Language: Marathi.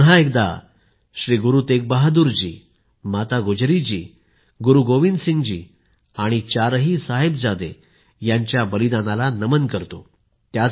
मी पुन्हा एकदा श्री गुरु तेग बहादुर जी माता गुजरी जी गुरु गोविंदसिंग जी आणि चार साहिबजादे यांच्या बलिदानाला नमन करतो